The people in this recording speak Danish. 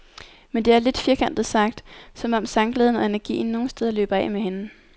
Men det er, lidt firkantet sagt, som om sangglæden og energien nogen steder løber af med hende.